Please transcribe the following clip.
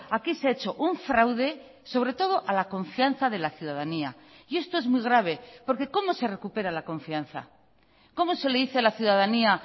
aquí se ha hecho un fraude sobre todo a la confianza de la ciudadanía y esto es muy grave porque cómo se recupera la confianza cómo se le dice a la ciudadanía